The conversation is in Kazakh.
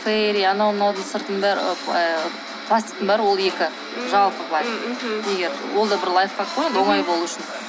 ферри анау мынаудың пластиктың бәрі ол екі жалпы былай ол да бір лайфхак қой енді оңай болу үшін